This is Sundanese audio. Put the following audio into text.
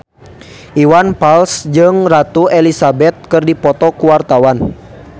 Iwan Fals jeung Ratu Elizabeth keur dipoto ku wartawan